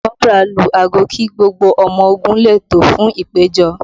Kọ́bùrà lu aago kí gbogbo ọmọ ogun lè tò fún ìpèjọ